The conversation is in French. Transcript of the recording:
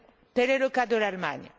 Tel est le cas de l'Allemagne.